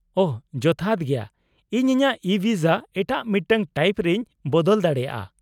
-ᱳᱦᱚ, ᱡᱚᱛᱷᱟᱛ ᱜᱮᱭᱟ ᱾ ᱤᱧ ᱤᱧᱟᱹᱜ ᱤᱼᱵᱷᱤᱥᱟ ᱮᱴᱟᱜ ᱢᱤᱫᱴᱟᱝ ᱴᱟᱤᱯ ᱨᱮᱧ ᱵᱚᱫᱚᱞ ᱫᱟᱲᱮᱭᱟᱜ ᱟᱹ ?